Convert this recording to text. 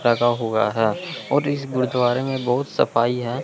लगा हुआ है और इस गुरुद्वारे में बहुत सफाई है।